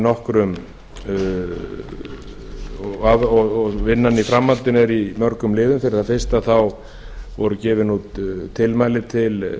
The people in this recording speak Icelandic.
til fjórum mánuðum og vinnan í framhaldinu er í mörgum liðum fyrir það fyrsta voru gefin út tilmæli til